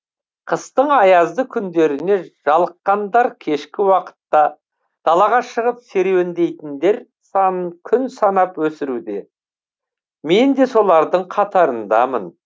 қыстың аязды күндеріне жалыққандар кешкі уақытта далаға шығып серуендейтіндер санын күн санап өсуруде мен де солардың қатарындамын